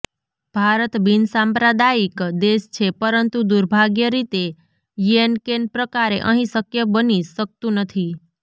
ભારત બિનસાંપ્રદાયિક દેશ છે પરંતુ દુર્ભાગ્ય રીતે યેનકેન પ્રકારે અહીં શક્ય બની શકતું નથી